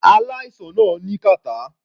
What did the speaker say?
Aláìsàn náà ní kàtá.